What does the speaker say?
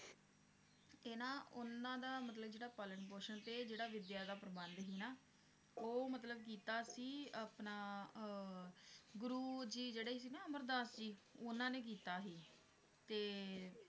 ਇਹ ਨ ਉਹਨਾਂ ਦਾ ਮਤਲਬ ਜਿਹੜਾ ਪਾਲਣ ਪੋਸ਼ਣ ਤੇ ਜਿਹੜਾ ਵਿਦਿਆ ਦਾ ਪ੍ਰਬੰਧ ਸੀ ਨਾ, ਉਹ ਮਤਲਬ ਕੀਤਾ ਸੀ ਆਪਣਾ ਅਹ ਗੁਰੂ ਜੀ ਜਿਹੜੇ ਸੀ ਨ ਅਮਰਦਾਸ ਜੀ, ਉਹਨਾਂ ਨੇ ਕੀਤਾ ਸੀ ਤੇ